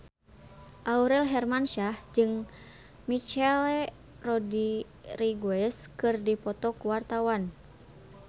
Aurel Hermansyah jeung Michelle Rodriguez keur dipoto ku wartawan